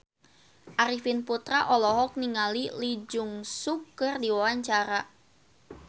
Arifin Putra olohok ningali Lee Jeong Suk keur diwawancara